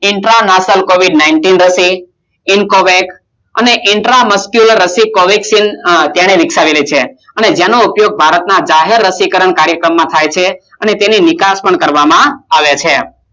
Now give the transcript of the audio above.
Intra Nasl Covid nineteen રસી ઇસ્કોવેગ ઈંટરમેકમરાસી કોવિલસિલ તેને વિકસાવેલી છે અને જેનો ઉપયોગ ભારત માં જાહેર રસી કારણ અને તેનો વિકાસ કરવામાં આવે છે